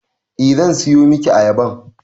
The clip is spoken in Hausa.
Eh zan siyo miki ayaban